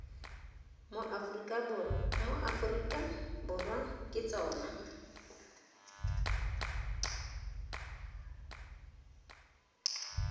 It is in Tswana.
mo aforika borwa ke tsona